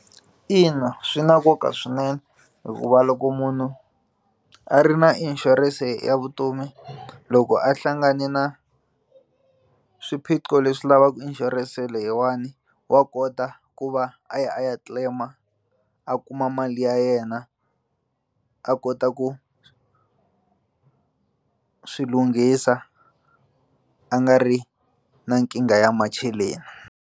Ina swi na nkoka swinene hikuva loko munhu a ri na inshurense ya vutomi loko a hlangane na swiphiqo leswi lavaka inshurense leyiwani wa kota ku va a ya a ya claim-a a kuma mali ya yena a kota ku swi lunghisa a nga ri na nkingha ya macheleni.